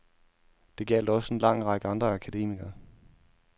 Det gjaldt også en lang række andre akademikere.